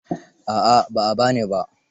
A'a ba a ba ni ba.